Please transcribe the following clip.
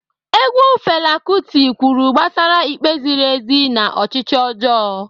Egwu Fela Kuti kwuru gbasara ikpe ziri ezi na ọchịchị ọjọọ.